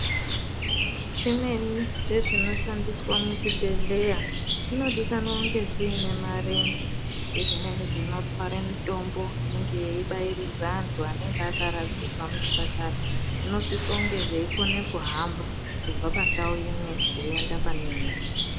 Zvimweni zvezvino shandiswa muchibhehleya zvinodikanwa kunge zvinemarenje ezvimweni zvinotwara mitombo yeibairidza antu anenge akaradzikwa muzvipatara zvinosise zveikona kuhamba kubva pandau imwe zveienda pane imweni